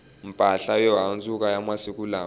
mpahla yo handzuka ya masiku lawa